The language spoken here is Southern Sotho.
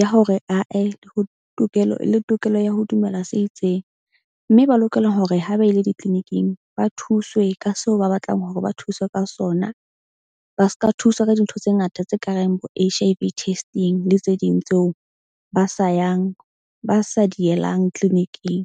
ya hore ae ho tokelo le tokelo ya ho dumela se itseng. Mme ba lokela hore ha ba ile di-clinic-ing ba thuswe ka seo ba batlang hore ba thuswe ka sona. Ba ska thuswa ka dintho tse ngata tse ka reng bo H_I_V testing le tse ding tseo ba sa yang ba sa di yelang clinic-ing.